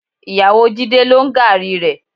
Ìyàwó Jídé ló ń gààrí rẹ.